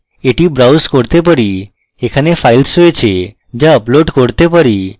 এটি browse করতে পারি এখানে files রয়েছে যা upload করতে পারি